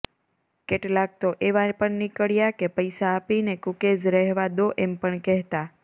કેટલાક તો એવા પણ નીકળ્યા કે પૈસા આપીને કુકીઝ રહેવા દો એમ પણ કહેતા